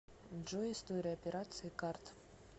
джой история операций карт